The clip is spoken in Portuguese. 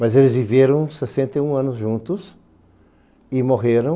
Mas eles viveram sessenta e um anos juntos e morreram.